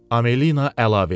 Amelina əlavə elədi.